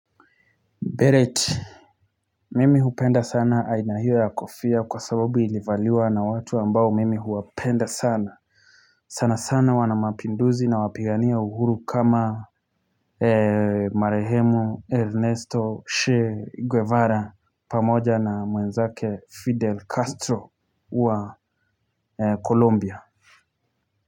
Beret. Mimi hupenda sana aina hiyo ya kofia kwa sababu ilivaliwa na watu ambao mimi huwapenda sana. Sana sana wanamapinduzi na wapigania uhuru kama Marehemu Ernesto Shea Guevara pamoja na mwenzake Fidel Castro wa Colombia Columbia.